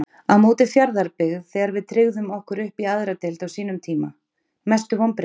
á móti fjarðabyggð þegar við tryggðum okkur uppí aðra deild á sínum tíma Mestu vonbrigði?